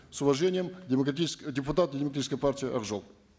с уважением депутат демократической партии ак жол